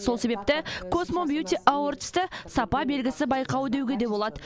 сол себепті космо бьюти авордсты сапа белгісі байқауы деуге де болады